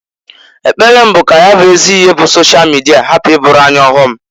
Ekpere m bụ ka ya bụ ezi ihe bụ sosha mịdia hapụ ịbụụrụ anyị ọghọm.